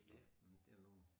Ja det der nogen